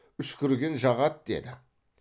үшкірген жағады деді